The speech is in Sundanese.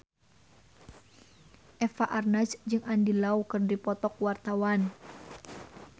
Eva Arnaz jeung Andy Lau keur dipoto ku wartawan